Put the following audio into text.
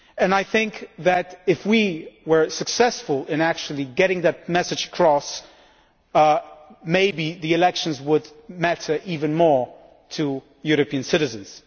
I think that if we were successful in getting that message across, maybe the elections would matter even more to European citizens.